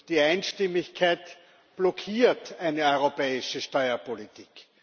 Die Einstimmigkeit blockiert eine europäische Steuerpolitik.